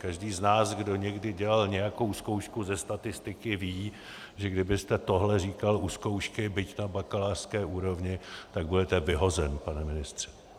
Každý z nás, kdo někdy dělal nějakou zkoušku ze statistiky, ví, že kdybyste tohle říkal u zkoušky, byť na bakalářské úrovni, tak budete vyhozen, pane ministře!